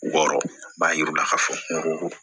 Wɔɔrɔ b'a jira u la k'a fɔ ko